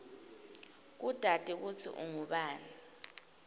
kutati kutsi ungubani